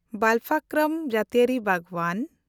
ᱵᱟᱞᱯᱷᱟᱠᱨᱚᱢ ᱡᱟᱹᱛᱤᱭᱟᱹᱨᱤ ᱵᱟᱜᱽᱣᱟᱱ